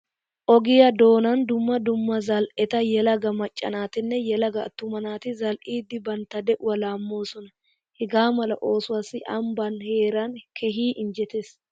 Ogiya doonan dumma dumma zal"eta yelaga macca naatinne yelaga attuma naati zal"idi banttta de'uwa laammoosona. Hegaa mala osuwassi ambbaa heeray keehi injjetees.